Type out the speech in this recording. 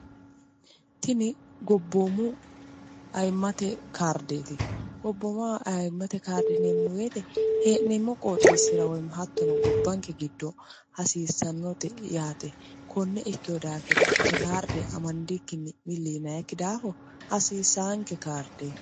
tini goobboomu ayiimate kaardeti goobbomaho ayimate karde yiinewoyite hennemo qoxxesira hattono gobanke gido hassisanote yate kone ikkino dafira tene kaarde ammadinkkin milli yiinaniki dafo hassisanke kaardete